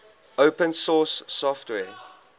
open source software